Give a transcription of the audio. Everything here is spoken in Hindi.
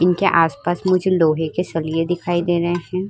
इनके आसपास मुझे लोहे के सलिए दिखाई दे रहे हैं।